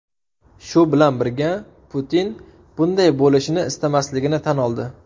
Shu bilan birga, Putin bunday bo‘lishini istamasligini tan oldi.